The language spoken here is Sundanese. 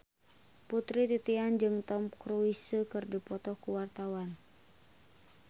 Putri Titian jeung Tom Cruise keur dipoto ku wartawan